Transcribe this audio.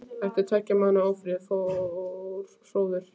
Eftir tveggja mánaða ófrið fór hróður